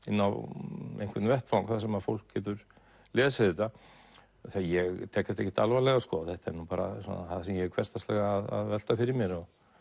inn á einhvern vettvang þar sem fólk getur lesið þetta ég tek þetta ekkert alvarlega sko þetta er nú bara það sem ég er hversdagslega að velta fyrir mér